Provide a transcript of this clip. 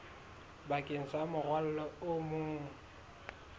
bakeng sa morwalo o mong